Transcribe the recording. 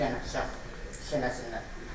Bir dənə bıçaq sinəsindən.